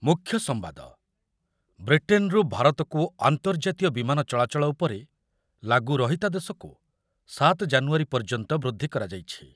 ମୁଖ୍ୟ ସମ୍ବାଦ, ବ୍ରିଟେନ୍‌ରୁ ଭାରତକୁ ଆର୍ନ୍ତଜାତୀୟ ବିମାନ ଚଳାଚଳ ଉପରେ ଲାଗୁ ରହିତାଦେଶକୁ ସାତ ଜାନୁୟାରୀ ପର୍ଯ୍ୟନ୍ତ ବୃଦ୍ଧି କରାଯାଇଛି।